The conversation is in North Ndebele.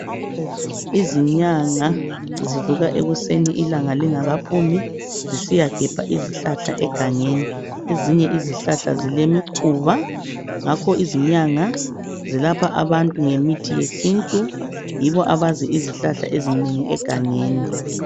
Izinyanga zivuka ekuseni ilanga lingakaphumi zisiyagebha izihlahla egangeni ezinye izihlahla zilemikhuba ngakho izinyanga zelapha abantu ngemithi yesintu yibo abazi izihlahla ezinengi egangeni.